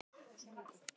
Allt í þessu fína lagi.